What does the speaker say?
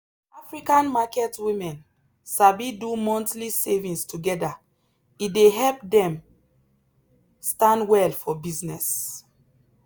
african market women sabi do monthly savings together e dey help dem stand well for business.